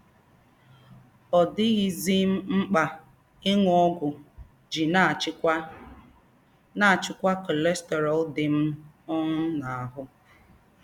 Ọ̀ dì̀ghízí m m̀kpá ìṅù ógwù ijí nà-àchíkwá nà-àchíkwá cholesterol dí m um n’àhù́